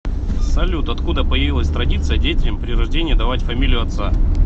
салют откуда появилась традиция детям при рождении давать фамилию отца